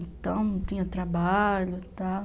Então, não tinha trabalho e tal.